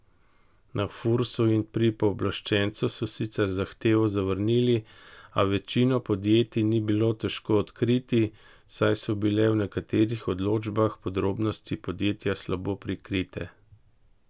Na Fursu in pri pooblaščencu so sicer zahtevo zavrnili, a večino podjetij ni bilo težko odkriti, saj so bile v nekaterih odločbah podrobnosti podjetja slabo prikrite.